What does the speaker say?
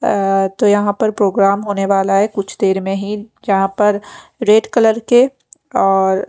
अअअ तो यहाँ पर प्रोग्राम होने वाला है कुछ देर में ही जहाँ पर रेड कलर के और --